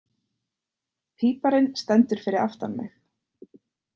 Píparinn stendur fyrir aftan mig.